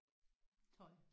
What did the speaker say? Tøj